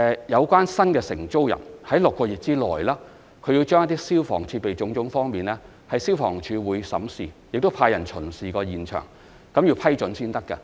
有關的新承租人須在6個月內，就消防設備等方面，獲得消防處經審視及派人巡視現場後的批准才可以。